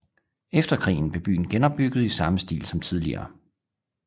Efter krigen blev byen genopbygget i samme stil som tidligere